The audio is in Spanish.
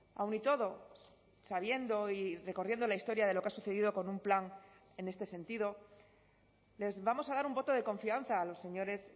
aun y todo sabiendo y recorriendo la historia de lo que ha sucedido con un plan en este sentido les vamos a dar un voto de confianza a los señores